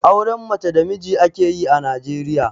Auren mace da namiji ake yi a Najeriya.